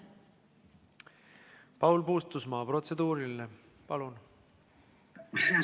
Paul Puustusmaa, protseduuriline, palun!